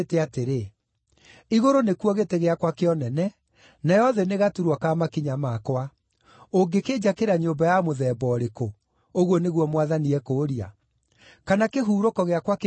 “ ‘Igũrũ nĩkuo gĩtĩ gĩakwa kĩa ũnene, nayo thĩ nĩ gaturwa ka makinya makwa. Ũngĩkĩnjakĩra nyũmba ya mũthemba ũrĩkũ? Ũguo nĩguo Mwathani ekũũria. Kana kĩhurũko gĩakwa kĩngĩkorwo kũ?